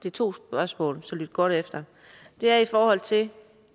er to spørgsmål så lyt godt efter er i forhold til